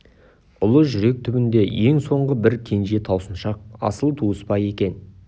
ұлы жүрек түбіндегі ең соңғы бір кенже таусыншақ асыл туыс па екен